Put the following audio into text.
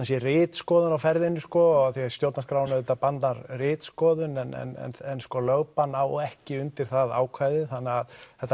sé ritskoðun á ferðinni og stjórnarskráin bannar ritskoðun en lögbann á ekki undir það ákvæði þannig að þetta